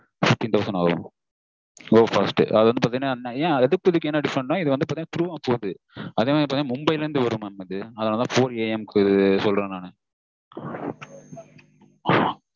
fifteen thousand ஆகும் go fast அது வந்து பாத்தீங்கனா அதுக்கும் இதுக்கும் என்ன different நா இது வந்து பாத்தீங்கனா through வா போகுது அதுவும் இது பாத்தீங்கனா மும்பைல இருந்து வரும் mam இது அதான் four AM சொல்றன் நானு